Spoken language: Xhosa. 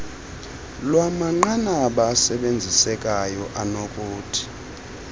lwamanqanaba asebenzisekayo anokuthi